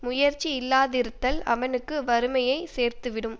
முயற்சி இல்லாதிருத்தல் அவனுக்கு வறுமையை சேர்த்து விடும்